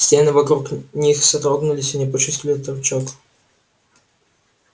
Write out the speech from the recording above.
стены вокруг них содрогнулись и они почувствовали толчок